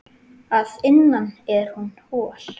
Að innan er hún hol.